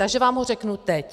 Takže vám ho řeknu teď.